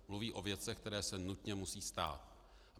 Mluví o věcech, které se nutně musí stát.